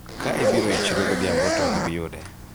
ka ibiro e chiro godhiambo to ok ibiyude